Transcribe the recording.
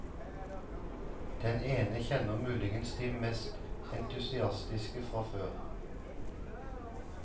Den ene kjenner muligens de mest entusiastiske fra før.